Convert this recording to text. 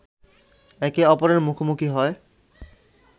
একে অপরের মুখোমুখি হয়